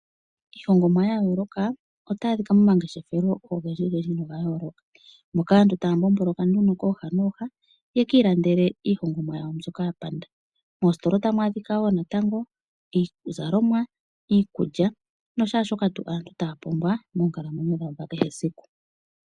Iilongomwa yayooloka otayi adhika momangeshefelo ogendji gendji na ogayooloka moka aantu taya mbomboloka nduno kooha nooha yekiilandele iihongomwa yawo mbyoka yapanda. Moositola otamu adhika wo natango iizalomwa, iikulya nashaashoka tu aantu taya pumbwa moonkalamwenyo dhawo dhakehesiku.